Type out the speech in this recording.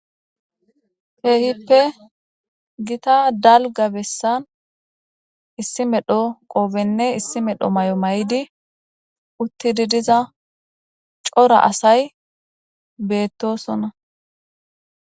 Kehippe gitta daliga besani issi medho qodhen issi medho mayo mayidi utidi diza coora asay betosona